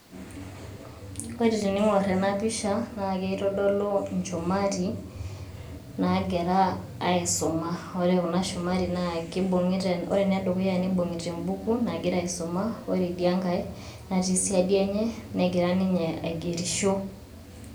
Ore teniing'orr ena pisha naa kitodolu inchumari naagira aaisuma, ore kuna shumari naa kibung'ita, ore ena edukuya naa nibung'ita embuku nagira aisuma, ore idia ngae natii siadi enye negira ninye aigerisho.